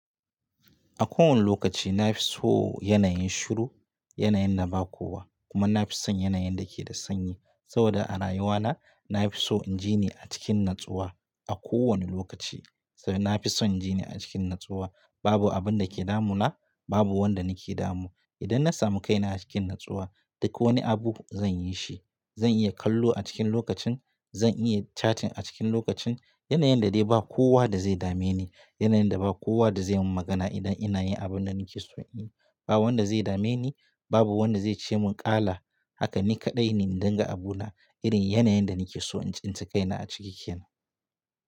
A kowane lokaci na fi so yanayin shiru, yanayin da ba kowa kuma na fi son yanayin da ke da sanyi. Saboda a rayuwa na, na fi so in ji ni a cikin natsuwa a kowane lokaci. Saboda na fi son ji ni a cikin natsuwa, babu abin da ke damuna, babu wanda ni ke damu. Idan na samu kaina a cikin natsuwa, duk wani abu zan yi shi. Zan iya kallo a cikin lokacin, zan iya chatting a cikin lokacin. Yanayin da dai ba kowa da zai dame ni, yanayin da ba kowa da zai mun magana idan ina yin abin da ni ke so in yi. Ba wanda zai dame ni, babu wanda zai ce mun kala. Haka ni kaɗai ne in dinga abu na. Irin yanayin da ni ke so in tsince kaina a cikin kaina.